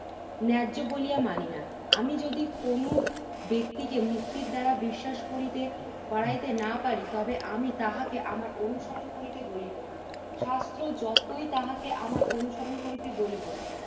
ন্যায্য বলিয়া মানি না। আমি যদি কোন ব্যক্তিকে মুক্তির দ্বারা বিশ্বাস করিতে করাইতে না পারি তবে আমি তাহাকে আমার অনুসরণ করিতে বলিব না। শাস্ত্র যতই তাহাকে আমার অনুসরণ করিতে বলিব না।